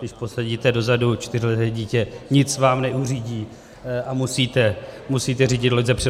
Když posadíte dozadu čtyřleté dítě, nic vám neuřídí a musíte řídit loď zepředu.